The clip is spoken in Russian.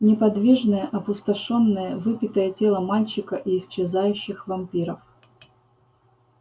неподвижное опустошённое выпитое тело мальчика и исчезающих вампиров